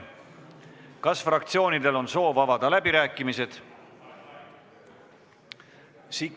Kas fraktsioonidel on soov avada läbirääkimised?